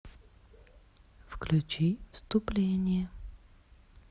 включи вступление